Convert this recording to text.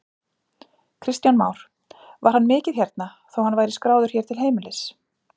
Kristján Már: Var hann mikið hérna, þó hann væri skráður hér til heimilis?